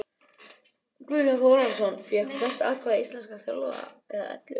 Guðjón Þórðarson fékk flest atkvæði íslenskra þjálfara eða ellefu.